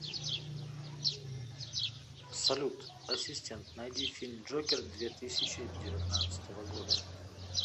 салют ассистент найди фильм джокер две тысячи девятнадцатого года